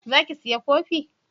Za ki saya kofi?